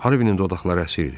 Harvinin dodaqları əsir idi.